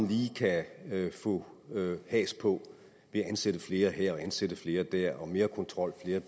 lige kan få has på ved at ansætte flere her og ansætte flere dér er mere kontrol her og